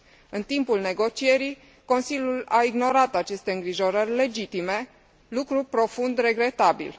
În timpul negocierii, Consiliul a ignorat aceste îngrijorări legitime, lucru profund regretabil.